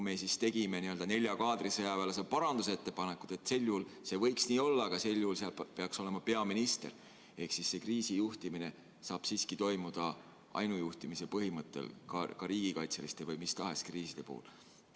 Me tegime sellesse n-ö nelja kaadrisõjaväelase parandusettepanekud, et see võiks nii olla, aga sel juhul peaks juhiks olema peaminister ehk see kriisijuhtimine saab siiski toimuda ainujuhtimise põhimõttel ka riigikaitseliste või mis tahes kriiside puhul.